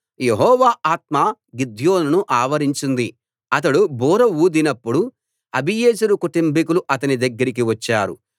యెహోవా ఆత్మ గిద్యోనును ఆవరించింది అతడు బూర ఊదినప్పుడు అబీయెజెరు కుటుంబీకులు అతని దగ్గరికి వచ్చారు